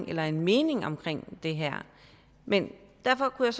eller en mening om det her men derfor kunne